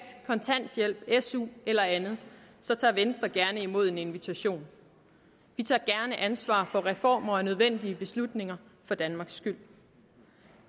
kontanthjælp su eller andet tager venstre gerne imod en invitation vi tager gerne ansvaret for reformer og nødvendige beslutninger for danmarks skyld